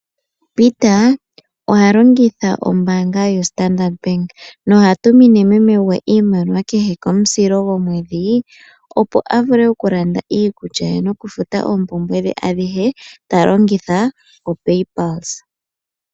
Peter oha longitha ombaanga ya Standard Bank noha tumine meme gwe iimaliwa kehe komusilo gomwedhi opo a vule oku landa iikulya ye noku futa oompumbwe dhe adhihe ta longitha opaypulse.